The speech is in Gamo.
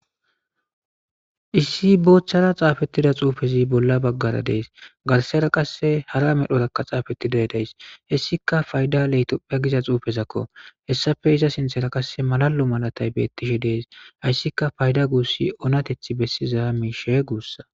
issi boochchara xaafettida xuufezi bolla baggara dees garsera qasse hara medhorakka xaafettiday days hessika fayda leytoppha giza xuufezakko hessafe iza sinthera qasse malalu malatay beettishe dees hayssika fayda guussi oonateth bessizaa miishe guussa